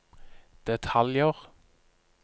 detaljer